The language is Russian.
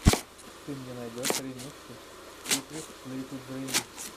ты мне найдешь ремиксы сикритлитудрим